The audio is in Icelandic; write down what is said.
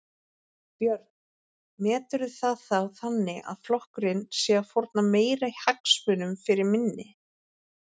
Björn: Meturðu það þá þannig að flokkurinn sé að fórna meiri hagsmunum fyrir minni?